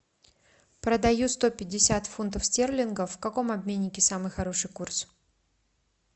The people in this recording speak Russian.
продаю сто пятьдесят фунтов стерлингов в каком обменнике самый хороший курс